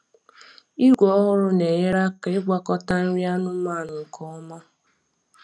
Igwe ọhụrụ na-enyere aka ịgwakọta nri anụmanụ nke ọma.